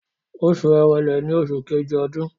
Oṣù Èrèlè ni oṣù Kejì ọdún.